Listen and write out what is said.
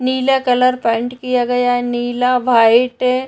नीला colour paint किया गया है। नीला व्हाइट --